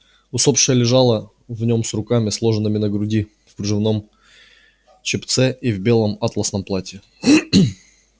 усопшая лежала в нём с руками сложенными на груди в кружевном чепце и в белом атласном платье